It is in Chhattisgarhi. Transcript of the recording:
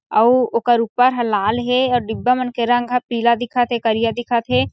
अउ ओकर ऊपर ह लाल हे आऊ डिब्बा मन के रंग ह पीला दिखत हे करिया दिखत हे।